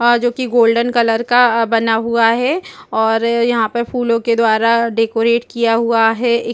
आ जो कि golden colour का अ बना हुआ है और यहां पर फूलों के द्वारा डेकोरेट किया हुआ है एक --